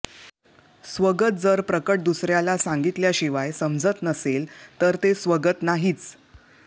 स्वगत जर प्रकट दुसर्याला सांगितल्याशिवाय समजत नसेल तर ते स्वगत नाहीच